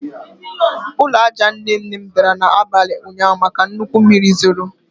Ụlọ aja nne nne m dara n'abalị ụnyaahụ maka nnukwu mmiri zoro